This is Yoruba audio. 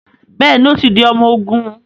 Bẹẹni, o tí di ọmọ ogún